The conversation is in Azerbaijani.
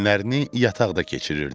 Günlərini yataqda keçirirdi.